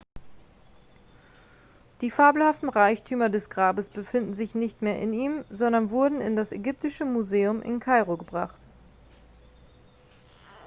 die fabelhaften reichtümer des grabes befinden sich nicht mehr in ihm sondern wurden in das ägyptische museum in kairo gebracht